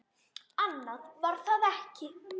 Annað var það ekki.